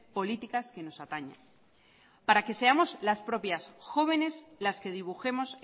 políticas que nos atañe para que seamos las propias jóvenes las que dibujemos